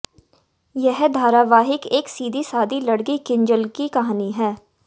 ये धारावाहिक एक सीधी सादी लड़की किंजल की कहानी है